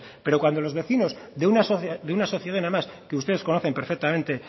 pero cuando los vecinos de una sociedad además que ustedes conocen perfectamente